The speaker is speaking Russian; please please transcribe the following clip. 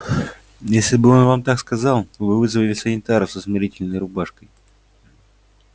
если бы он вам так сказал вы бы вызвали санитаров со смирительной рубашкой